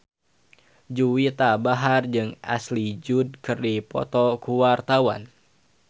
Juwita Bahar jeung Ashley Judd keur dipoto ku wartawan